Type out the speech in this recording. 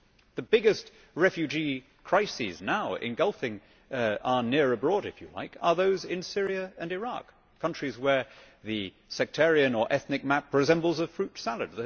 The biggest refugee crises now engulfing our near abroad, if you like, are those in Syria and Iraq, countries where the sectarian or ethnic map resembles a fruit salad.